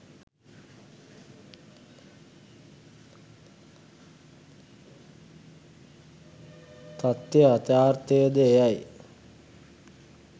තථ්‍ය යථාර්ථයද එයයි.